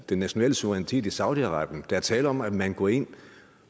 den nationale suverænitet i saudi arabien der er tale om at man går ind